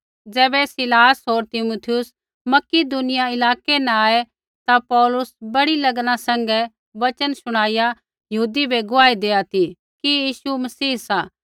ज़ैबै सीलास होर तीमुथियुस मकिदुनिया इलाकै न आऐ ता पौलुस बड़ी लगना सैंघै वचन शुणाइया यहूदी बै गुआही देआ ती कि यीशु मसीह सा